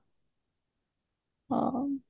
ହଁ